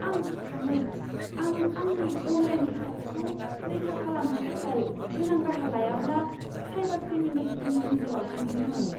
आं गिखाङो, आं आंनि अनलाइन रैखाथिखौ रैखा खालामनो थाखाय गोनां राहा लायाब्ला साइबार क्रिमिनेलफोरनि नोजोराव गोग्लैगोन!